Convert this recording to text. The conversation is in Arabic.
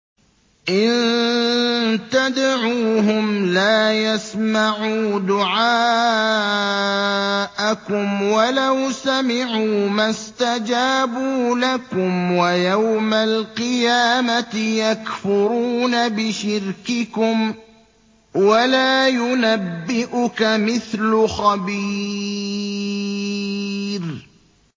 إِن تَدْعُوهُمْ لَا يَسْمَعُوا دُعَاءَكُمْ وَلَوْ سَمِعُوا مَا اسْتَجَابُوا لَكُمْ ۖ وَيَوْمَ الْقِيَامَةِ يَكْفُرُونَ بِشِرْكِكُمْ ۚ وَلَا يُنَبِّئُكَ مِثْلُ خَبِيرٍ